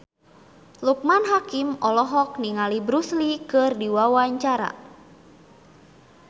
Loekman Hakim olohok ningali Bruce Lee keur diwawancara